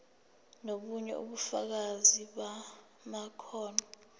nobunye ubufakazi bamakhono